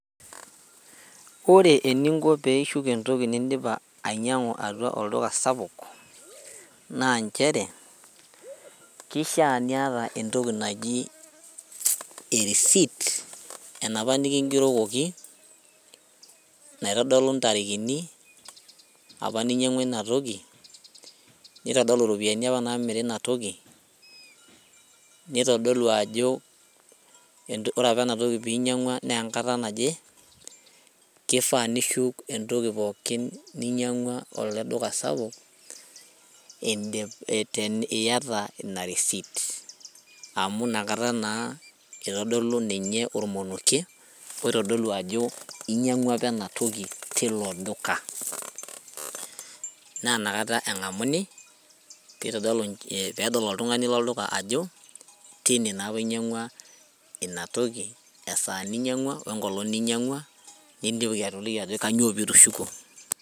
Ore eninko peishuk entoki nindipa ainyiang'u atua olduka sapuk naa nchere kishia niata entoki naji e receipt enapa nikingerokoki naitodolu intarikini apa ninyiang'ua inatoki nitodolu iropiyiani apa namiri inatoki nitodolu ajo ore apa enatoki pinyiang'ua naa enkata naje kifaa nishuk entoki pookin ninyiang'ua ele duka sapuk indi tini iyata ina receipt amu inakata naa itodolu ninye ormonokie oitodolu ajo inyiang'ua apa enatoki tilo duka naa inakata eng'amuni pitodolu peedol oltung'ani lolduka ajo teine naa apa inyiang'ua ina toki esaa ninying'ua wenkolong ninyiang'ua nidim atoliki ajo kanyio pitushukuo.